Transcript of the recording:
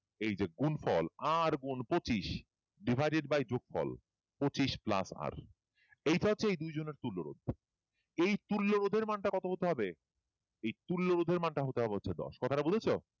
এই গুন ফল r গুন পচিশ divided by যোগফল পচিশ plus divided by এইটা হচ্ছে এই দুই জনের তুল্য রোধ এই তুল্য রোধের মানের টা কত হবে এই তুল্য রোধের মান হতে হবে দশ